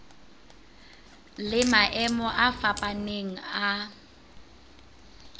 le maemo a fapaneng a